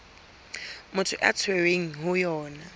motho a tshwerweng ho yona